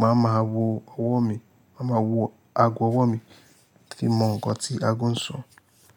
màá ma wọ ọwọ́ mi, màá ma wọ ago ọwọ́ mi fi mọ ǹkan tí ago ń sọ.